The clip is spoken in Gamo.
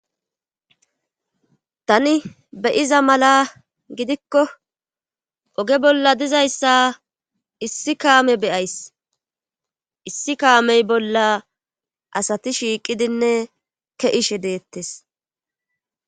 tani be7iza mala gidikko oge bolla dizayssa issi kaame be7ays issi kaamey bolla asati shiiqidinne ke7ishe deettes.